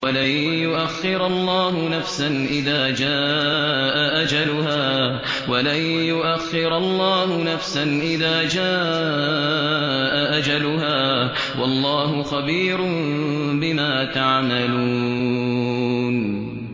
وَلَن يُؤَخِّرَ اللَّهُ نَفْسًا إِذَا جَاءَ أَجَلُهَا ۚ وَاللَّهُ خَبِيرٌ بِمَا تَعْمَلُونَ